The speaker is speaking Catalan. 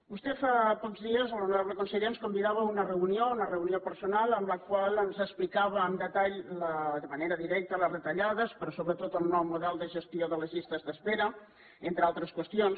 vostè fa pocs dies l’honorable conseller ens convidava a una reunió una reunió personal en la qual ens explicava amb detall de manera directa les retallades però sobretot el nou model de gestió de les llistes d’espera entre altres qüestions